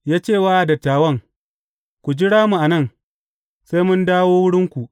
Ya ce wa dattawan, Ku jira mu a nan, sai mun dawo wurinku.